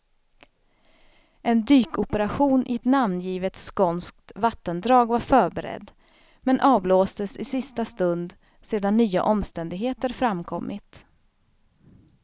En dykoperation i ett namngivet skånskt vattendrag var förberedd, men avblåstes i sista stund sedan nya omständigheter framkommit.